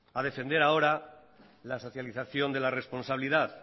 a defender ahora la socialización de la responsabilidad